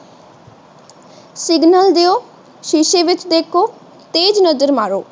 signal ਦੀਓ ਸ਼ੀਸ਼ੇ ਵਿੱਚ ਵੇਖੋ ਤੇਜ ਨਜ਼ਰ ਮਾਰੋ